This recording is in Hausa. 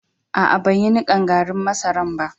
Aa, ban yi nikan garrin masaran ba.